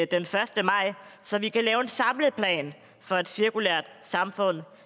den første maj så vi kan lave en samlet plan for et cirkulært samfund